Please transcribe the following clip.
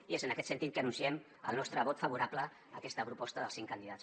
i és en aquest sentit que anunciem el nostre vot favorable a aquesta proposta dels cinc candidats